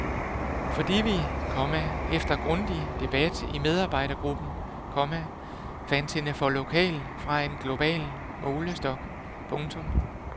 Fordi vi, komma efter grundig debat i medarbejdergruppen, komma fandt hende for lokal fra en global målestok. punktum